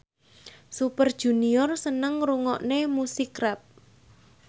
Super Junior seneng ngrungokne musik rap